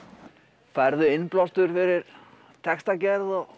færðu innblástur fyrir textagerð og